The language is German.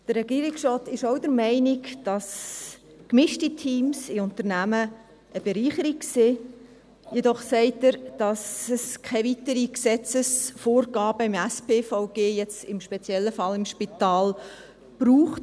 Der Regierungsrat ist auch der Meinung, dass gemischte Teams in Unternehmen eine Bereicherung sind, jedoch sagt er, dass es keine weiteren Gesetzesvorgaben im SpVG, hier im speziellen Fall für das Spital, braucht.